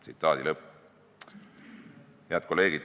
" Head kolleegid!